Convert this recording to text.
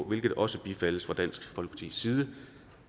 hvilket også bifaldes fra dansk folkepartis side